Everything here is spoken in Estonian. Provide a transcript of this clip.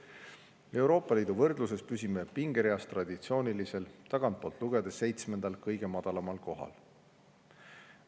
Euroopa Liidu võrdluses püsime pingereas traditsiooniliselt tagantpoolt lugedes seitsmendal kohal.